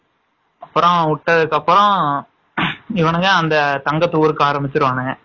அப்பறம் விட்டதுகாப்பரம் இவனுங்க தங்கத்த உருக்க ஆரம்பிச்சுருவானுக.